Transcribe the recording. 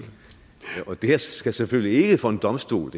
og det her skal selvfølgelig ikke for en domstol